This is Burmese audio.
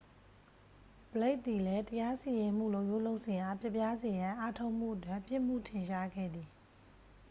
ဘလိတ် သည်လည်း တရားစီရင်မှုလုပ်ရိုးလုပ်စဉ်အား ပျက်ပြားစေရန် အားထုတ်မှုအတွက် ပြစ်မှုထင်ရှားခဲ့သည်